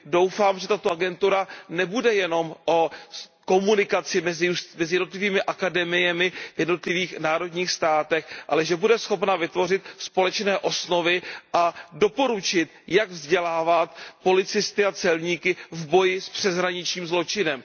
Doufám, že tato agentura nebude jenom o komunikaci mezi jednotlivými akademiemi v jednotlivých národních státech, ale že bude schopna vytvořit společné osnovy a doporučit, jak vzdělávat policisty a celníky v boji s přeshraničním zločinem.